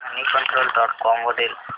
Moneycontrol dot com वरील top news वाच